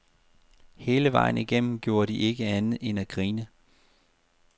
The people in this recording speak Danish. Hele vejen igennem gjorde de ikke andet end at grine.